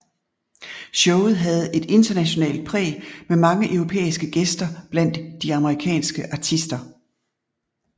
Showet havde et internationalt præg med mange europæiske gæster blandt de amerikanske artister